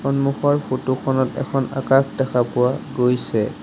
সন্মুখৰ ফটো খনত এখন আকাশ দেখা পোৱা গৈছে।